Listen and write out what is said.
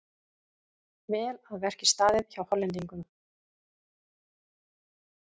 Vel að verki staðið hjá Hollendingnum.